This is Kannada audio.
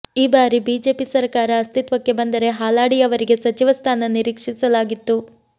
ಈ ಬಾರಿ ಬಿಜೆಪಿ ಸರಕಾರ ಅಸ್ತಿತ್ವಕ್ಕೆ ಬಂದರೆ ಹಾಲಾಡಿಯವರಿಗೆ ಸಚಿವ ಸ್ಥಾನ ನಿರೀಕ್ಷಿಸಲಾಗಿತ್ತು